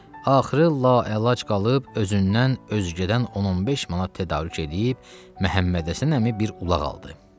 Axırı la əlac qalıb özündən özgədən 10-15 manat tədarük eləyib, Məhəmmədhəsən əmi bir ulaq aldı.